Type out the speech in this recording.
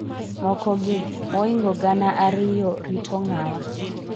mokogi, moingo gana ariyo rito ng'awa?